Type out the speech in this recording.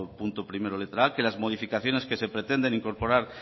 punto primero letra a que las modificaciones que se pretende incorporar